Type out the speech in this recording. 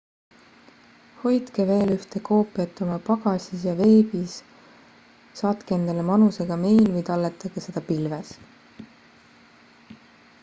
hoidke veel ühte koopiat oma pagasis ja veebis saatke endale manusega meil või talletage seda pilves